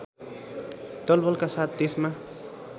दलबलका साथ देशमा